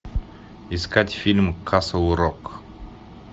искать фильм касл рок